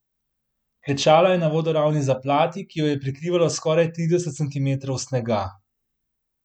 Klečala je na vodoravni zaplati, ki jo je že prekrivalo skoraj trideset centimetrov snega.